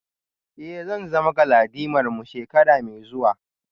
Eh zan zama galadimarmu shekara mai zuwa